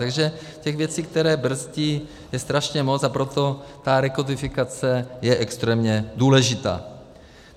Takže těch věcí, které brzdí, je strašně moc, a proto ta rekodifikace je extrémně důležitá.